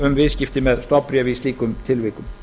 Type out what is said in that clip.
um viðskipti með stofnbréf í slíkum tilvikum